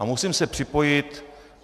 A musím se připojit.